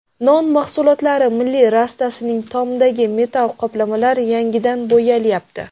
Non mahsulotlari milliy rastasining tomidagi metall qoplamalar yangidan bo‘yalyapti.